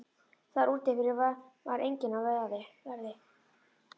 Þar úti fyrir var enginn á verði.